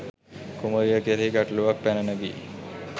කුමරිය කෙරෙහි ගැටළුවක් පැන නගී.